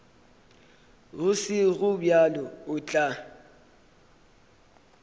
go sego bjalo o tla